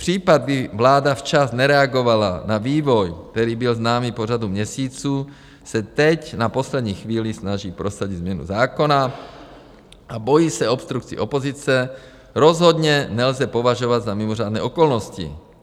Případ, kdy vláda včas nereagovala na vývoj, který byl známý po řadu měsíců, se teď na poslední chvíli snaží prosadit změnu zákona a bojí se obstrukcí opozice, rozhodně nelze považovat za mimořádné okolnosti.